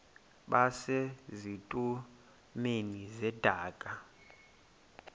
base zitulmeni zedaka